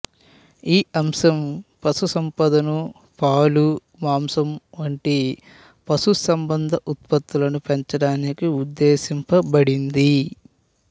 ఈ అంశం పశు సంపదను పాలు మాంసం వంటి పశు సంబంధ ఉత్పత్తులను పెంచడానికి ఉద్దేశింప బడింది